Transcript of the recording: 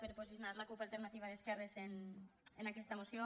per posicionar la cup alternativa d’esquerres en aquesta moció